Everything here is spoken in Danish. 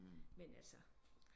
Men altså